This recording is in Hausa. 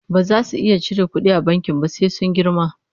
baza su iya cire ƙuɗi a bankin ba sai sun girma